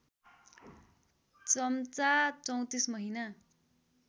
चम्चा ३४ महिना